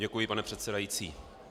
Děkuji, pane předsedající.